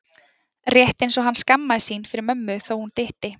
Rétt eins og hann skammaðist sín fyrir mömmu þó hún dytti.